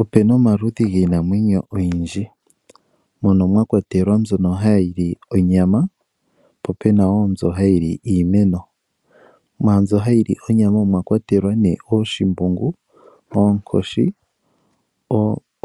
Opuna omaludhi giinamwenyo oyindji mono mwa kwatelwa mbyono hayi li onyama po opena wo mbyoka hayi li iimeno. Mwaambyono hayi li onyama omwa kwatelwa nee: ooshimbungu, oonkoshi,